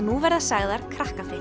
nú verða sagðar